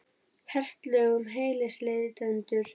Hert lög um hælisleitendur